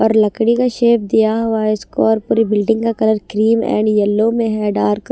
और लकड़ी का शेप दिया हुआ इसको और पूरी बिल्डिंग का कलर क्रीम एंड येलो में है डार्क --